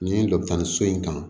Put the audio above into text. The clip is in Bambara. Nin dɔ bɛ taa nin so in kan